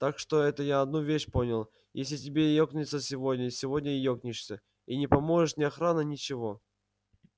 так что это я одну вещь понял если тебе екнуться сегодня сегодня и екнешься и не поможет ни охрана ничего